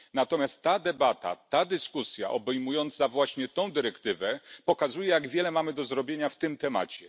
Natomiast ta debata obejmująca właśnie tę dyrektywę pokazuje, jak wiele mamy do zrobienia w tym temacie.